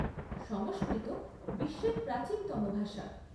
সংস্কৃত বিশ্বের প্রাচীনতম ভাষা।